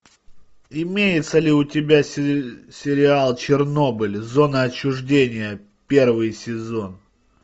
имеется ли у тебя сериал чернобыль зона отчуждения первый сезон